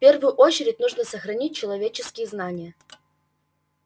в первую очередь нужно сохранить человеческие знания